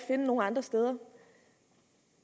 finde nogen andre steder